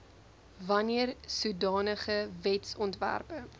wanneer sodanige wetsontwerpe